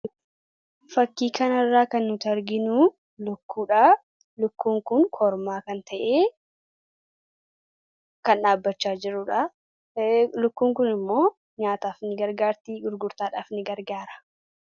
fakkii kana irraa kan nuti arginuu lukkuu kormaa kan ta'eefi kan dhaabbachaa jiruudha lukkuun kun immoo nyaataafi ni gargaartii gurgurtaadhaafis ni gargaara